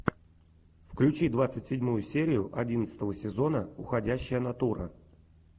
включи двадцать седьмую серию одиннадцатого сезона уходящая натура